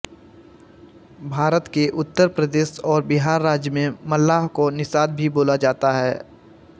भारत के उत्तर प्रदेश और बिहार राज्य मे मल्लाह को निषाद भी बोला जाता है